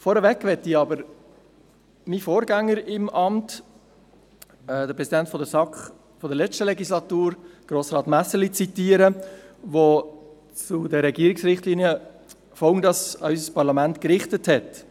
Vorneweg möchte ich jedoch meinen Vorgänger im Amt, den SAK-Präsidenten der letzten Legislatur, alt Grossrat Messerli, zitieren, der zu den Regierungsrichtlinien folgende Worte an unser Parlament gerichtet hat: